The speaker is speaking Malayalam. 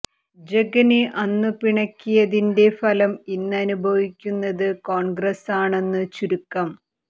ജഗനെ അന്നു പിണക്കിയതിന്റെ ഫലം ഇന്ന് അനുഭവിക്കുന്നത് കോൺഗ്രസ് ആണെന്നു ചുരുക്കം